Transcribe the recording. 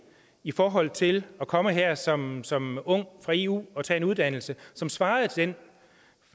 i forhold til at komme her som som ung fra eu og tage en uddannelse som svarede til